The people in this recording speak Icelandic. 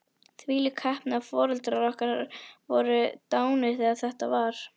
Þvílík heppni að foreldrar okkar voru dánir þegar þetta var.